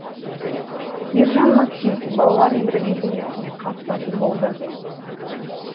ержан максим балалар евровидениесіне қатысатын болды